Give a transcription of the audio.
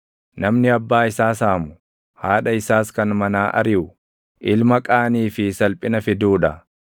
Namni abbaa isaa saamu, haadha isaas kan manaa ariʼu, ilma qaanii fi salphina fiduu dha.